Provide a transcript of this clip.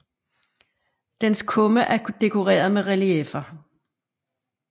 Dens kumme er dekoreret med relieffer